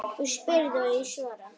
Þú spyrð og ég svara.